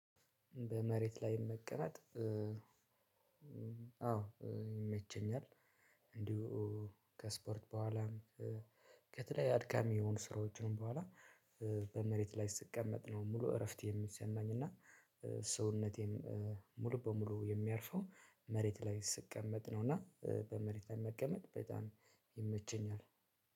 በመሬት ላይ መቀመጥ አዎ ይመቸኛል። እንዲሁ ከስፖርት በኋላም ከትያየ አድካሚ የሆኑ ስራዎችም በኋላ በመሬት ላይ ስቀመጥ ነው። ሙሉ እረፍት የሚሰማኝ እና ሰውነቴም ሙሉ በሙሉ የሚያርፈው መሬት ላይ ስቀመጥ ነው። እና በመሬት መቀመጥ በጣም ይመቸኛል።